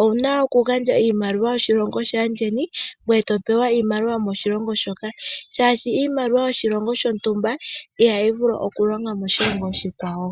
owu na okugandja iimaliwa yoshilongo shaandjeni ngoye to pewa iimaliwa yomoshilongo shoka, molwashoka iimaliwa yoshilongo shontumba ihayi vulu okulonga moshilongo oshikwawo.